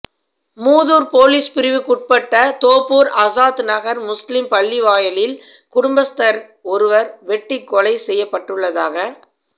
Muthur police பிரிவுக்குட்பட்ட தோப்பூர் ஆஸாத் நகர் முஸ்லிம் பள்ளிவாயலில் குடும்பஸ்தர் ஒருவர் வெட்டிக் கொலை செய்யப்பட்டுள்ளதாக